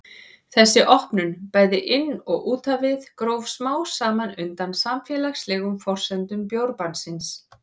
Þessi opnun, bæði inn og út á við, gróf smám saman undan samfélagslegum forsendum bjórbannsins.